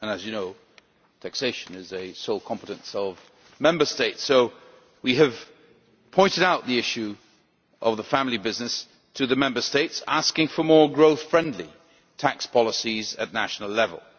As you know, taxation is a sole competence of Member States, so we have pointed out the issue of the family business to them, asking them for more growth-friendly tax policies at national level.